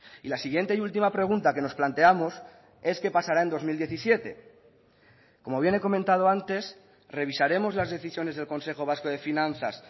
y la siguiente y última pregunta que nos planteamos es qué pasará en dos mil diecisiete como bien he comentado antes revisaremos las decisiones del consejo vasco de finanzas